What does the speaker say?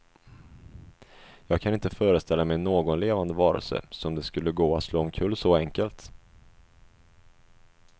Jag kan inte föreställa mig någon levande varelse som det skulle gå att slå omkull så enkelt.